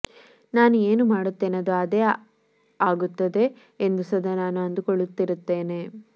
ನಾನು ಏನು ಮಾಡುತ್ತೇನೆ ಅದು ಅದೇ ಆಗುತ್ತದೆ ಎಂದೇ ಸದಾ ನಾನು ಅಂದುಕೊಳ್ಳುತ್ತಿರುತ್ತೇನೆ